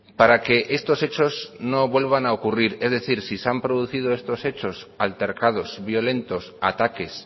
para que estos hechos no vuelvan a ocurrir es decir si se han producido estos hechos altercados violentos ataques